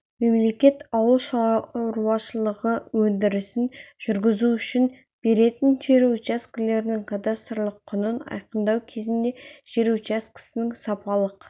мемлекет ауыл шаруашылығы өндірісін жүргізу үшін беретін жер учаскелерінің кадастрлық құнын айқындау кезінде жер учаскесінің сапалық